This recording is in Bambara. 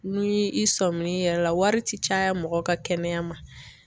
Ni i sɔmin'i yɛrɛ la wari ti caya mɔgɔ ka kɛnɛya ma.